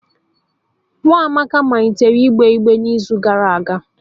Nwa Amaka malitere igbe igbere n'izu gara aga